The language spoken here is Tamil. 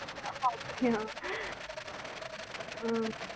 அப்டியா ஆஹ்